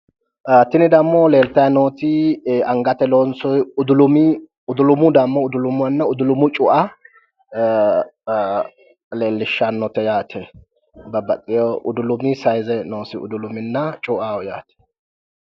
tini dammo leeltayi nooti angate loonsoyi udulumi udulumu cu"a leellishshannote yaate babbaxxeyo sayiize noosi udulumanna cu"aho yaate